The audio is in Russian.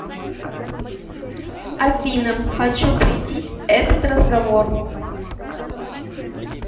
афина хочу претить этот разговор